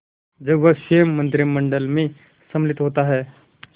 जब वह स्वयं मंत्रिमंडल में सम्मिलित होता है